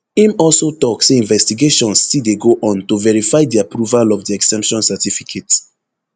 im also tok say investigations still dey go on to verify di approval of di exemption certificate